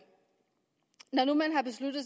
når nu man har besluttet